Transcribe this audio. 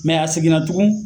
Mɛ a seginna tugun